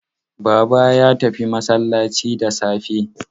Baba ya tafi masallaci da safe.